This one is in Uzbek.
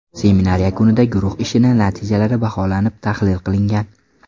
Seminar yakunida guruh ishi natijalari baholanib, tahlil qilingan.